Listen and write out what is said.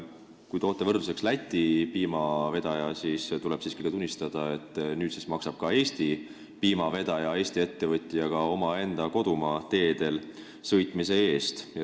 Kui toote võrdluseks Läti piimavedaja, siis tuleb siiski tunnistada, et nüüd maksab ka Eesti piimavedaja, Eesti ettevõtja oma kodumaa teedel sõitmise eest.